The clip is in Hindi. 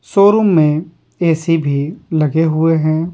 शोरूम में ए_सी भी लगे हुए हैं ।